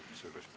Aitäh!